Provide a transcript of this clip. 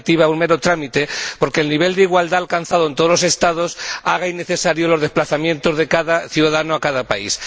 un mero trámite porque el nivel de igualdad alcanzado en todos los Estados haga innecesarios los desplazamientos de cada ciudadano a cada país.